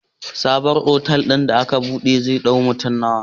Sabon otal din da aka buɗe zai dau mutane nawa?